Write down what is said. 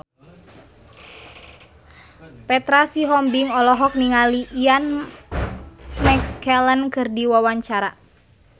Petra Sihombing olohok ningali Ian McKellen keur diwawancara